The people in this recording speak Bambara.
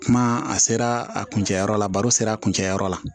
Kuma a sera a kuncɛyɔrɔ la baro sera a kun cɛ yɔrɔ la